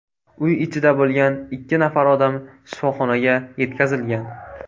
Uy ichida bo‘lgan ikki nafar odam shifoxonaga yetkazilgan.